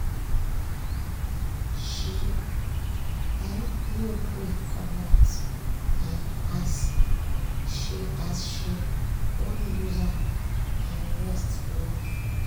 she um no gree coomot um as she as she wan use am um rest well-well.